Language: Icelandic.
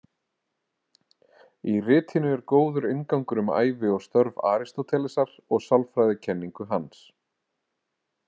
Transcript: Í ritinu er góður inngangur um ævi og störf Aristótelesar og sálfræðikenningu hans.